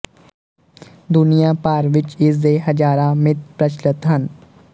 ਦੁਨੀਆ ਭਰ ਵਿੱਚ ਇਸਦੇ ਹਜ਼ਾਰਾਂ ਮਿਤ ਪ੍ਰਚੱਲਤ ਹਨ